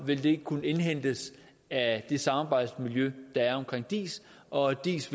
vil det kunne indhentes af det samarbejdsmiljø der er omkring diis og at diis